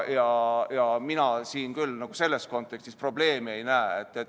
Mina siin selles kontekstis probleemi ei näe.